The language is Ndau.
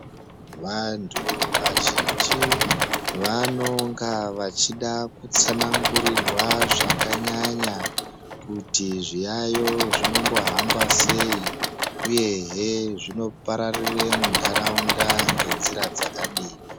Vantu vazhinji vanonga vachida kutsanangurirwa zvakanyanya kuti zviyayo zvinombo hamba sei, uyehe zvinombopararira munharaunda nenzira dzakadini.